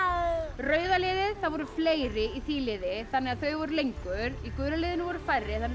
rauða liðið það voru fleiri í því liði þannig að þau voru lengur í gula liðinu voru færri